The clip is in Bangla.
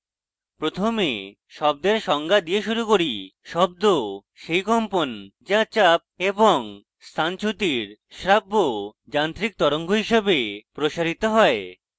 প্রথমে শব্দের সংজ্ঞা দিয়ে শুরু করি শব্দ সেই কম্পন যা চাপ এবং স্থানচ্যুতির শ্রাব্য যান্ত্রিক তরঙ্গ হিসাবে প্রসারিত হয়